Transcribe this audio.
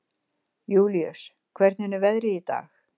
Júlíus, hvernig er veðrið í dag?